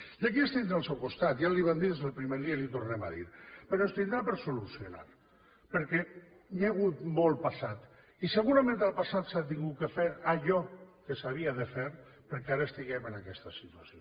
i aquí ens tindrà al seu costat ja li ho vam des del primer dia i li ho tornem a dir però ens tindrà per solucionar perquè hi ha hagut molt passat i segurament al passat s’ha hagut de fer allò que s’havia de fer perquè ara estiguem en aquesta situació